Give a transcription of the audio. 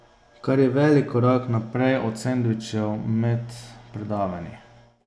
Kar je velik korak naprej od sendvičev med predavanji.